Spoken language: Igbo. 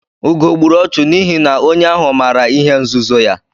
Ugo gburu ọchụ n'ihi na onye ahụ maara ihe nzuzo ya.